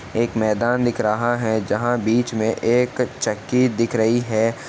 एक मैदान दिख रहा है। जहां बीच में एक चक्की दिख रही है।